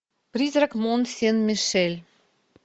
призрак мон сен мишель